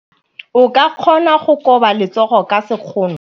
O ka kgona go koba letsogo ka sekgono.